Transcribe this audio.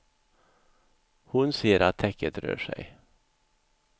Hon ser att täcket rör sig.